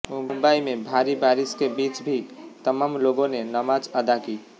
मुंबई में भारी बारिश के बीच भी तमाम लोगों ने नमाज अदा की